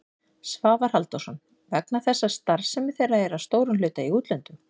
Svavar Halldórsson: Vegna þess að starfsemi þeirra er að stórum hluta í útlöndum?